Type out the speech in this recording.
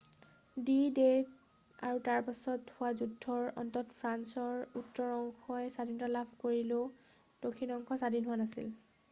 D-Day আৰু তাৰ পাছত হোৱা যুদ্ধৰ অন্তত ফ্ৰান্সৰ উত্তৰ অংশই স্বাধীনতা লাভ কৰিলেও দক্ষিণ অংশ স্বাধীন হোৱা নাছিল